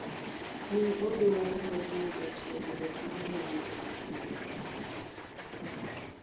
Ne odwaro mar yudo tiegruok morormo ewi pidho kich.